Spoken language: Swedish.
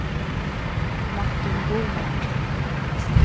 Martin Boman